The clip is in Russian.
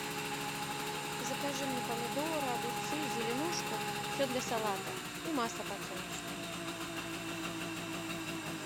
закажи мне помидоры огурцы зеленушку все для салата и масло подсолнечное